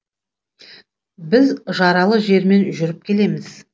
біз жаралы жермен жүріп келеміз